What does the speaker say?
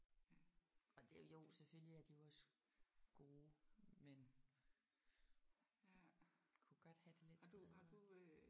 Og det er jo selvfølgelig er de jo også gode men kunne godt have det lidt bedre